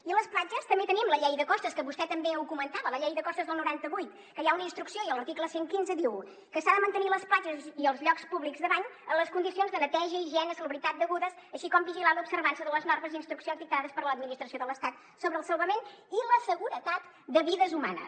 i a les platges també tenim la llei de costes que vostè també ho comentava la llei de costes del noranta vuit que hi ha una instrucció i l’article cent i quinze diu que s’han de mantenir les platges i els llocs públics de bany en les condicions de neteja higiene salubritat degudes així com vigilar l’observança de les normes i instruccions dictades per l’administració de l’estat sobre el salvament i la seguretat de vides humanes